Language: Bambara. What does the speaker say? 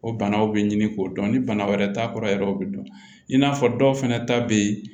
O banaw be ɲini k'o dɔn ni bana wɛrɛ t'a kɔrɔ yɛrɛ o bi dɔn i n'a fɔ dɔw fɛnɛ ta be ye